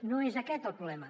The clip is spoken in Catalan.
no és aquest el problema